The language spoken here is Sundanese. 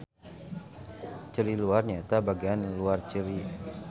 Ceuli luar nyaeta bagean luar ceuli.